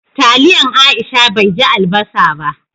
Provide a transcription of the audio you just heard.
Taliyan Aisha bai ji albasa ba.